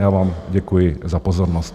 Já vám děkuji za pozornost.